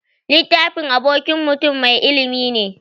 Littafi abokin mutun mai ilimi ne.